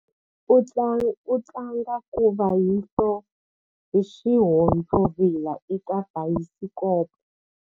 Wanuna lonkulu swinene u tlanga ku va xihontlovila eka bayisikopo.